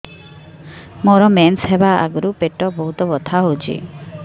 ମୋର ମେନ୍ସେସ ହବା ଆଗରୁ ପେଟ ବହୁତ ବଥା ହଉଚି